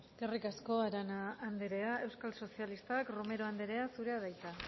eskerrik asko eskerrik asko arana andrea euskal sozialistak romero andrea zurea da hitza